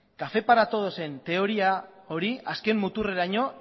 café para todos aren teoria hori azken muturreraino